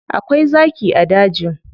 Akwai zaki a dajin.